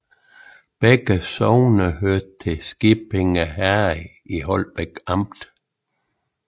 Begge sogne hørte til Skippinge Herred i Holbæk Amt